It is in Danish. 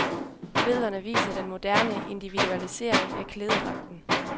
Billederne viser den moderne individualisering af klædedragten.